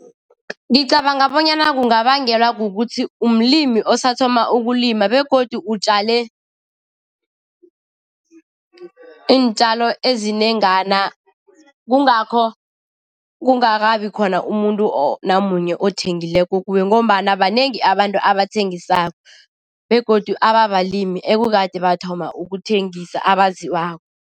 Ngicabanga bonyana kungabangelwa kukuthi umlimi osathoma ukulima begodu utjale iintjalo ezinengana kungakho kungakabi khona umuntu namanye othengileko kuwe ngombana banengi abantu abathengisako begodu ebabalimi ekukade bathoma ukuthengisa abaziwako.